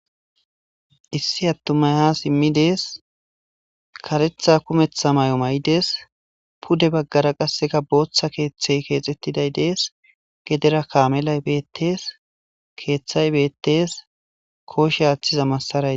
Issi atumay ha simi utides karetha kumetha mayo mayides pude bagara botha kethe kexetiday des gedra kamelay betes kethay betes koshe athiza masaray